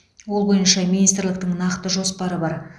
ол бойынша министрліктің нақты жоспары бар